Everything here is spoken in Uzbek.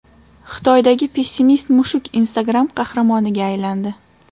Xitoydagi pessimist-mushuk Instagram qahramoniga aylandi.